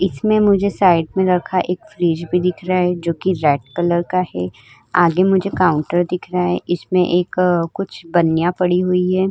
इसमें मुझे साइड में रखा एक फ्रिज भी दिख रहा है जो कि रेड कलर का है। आगे मुझे काउंटर दिख रहा है। इसमें एक कुछ बनिया पड़ी हुई है।